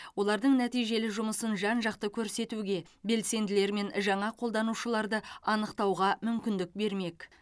олардың нәтижелі жұмысын жан жақты көрсетуге белсенділер мен жаңа қолданушыларды анықтауға мүмкіндік бермек